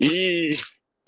и